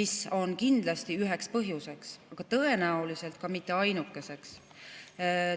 mis on kindlasti üheks põhjuseks, aga tõenäoliselt mitte ainukeseks.